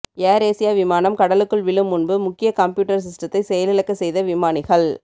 AirAsia விமானம் கடலுக்குள் விழும் முன்பு முக்கிய கம்ப்யூட்டர் சிஸ்டத்தை செயலிழக்க செய்த விமானிகள்